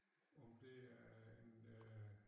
Om det er en øh